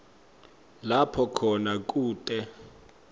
lapho khona kute